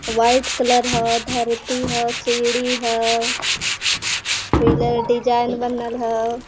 White colour ह धरती हाओ सीढ़ी ह पिलर डिजाइन बनल हा।